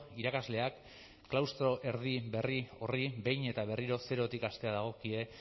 irakasleak klaustro erdi berri horri behin eta berriro zerotik hastea dagokie